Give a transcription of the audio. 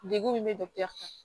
Degun min bɛ dɔgɔtɔrɔ fɛ